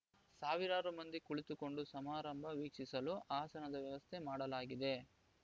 ಸಾವಿರಾರು ಮಂದಿ ಕುಳಿತುಕೊಂಡು ಸಮಾರಂಭ ವೀಕ್ಷಿಸಲು ಆಸನದ ವ್ಯವಸ್ಥೆ ಮಾಡಲಾಗಿದೆ